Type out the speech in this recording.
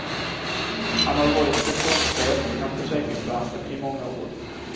Han har varit sektionschef inom försäkringsbranschen i många år.